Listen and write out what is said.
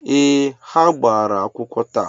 Ee, ha gbara akwụkwọ taa